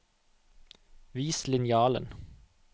Vis linjalen